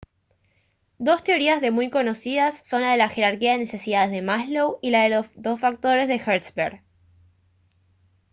dos teorías de muy conocidas son la de la jerarquía de necesidades de maslow y la de los dos factores de hertzberg